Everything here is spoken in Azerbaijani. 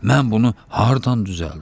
Mən bunu hardan düzəldim?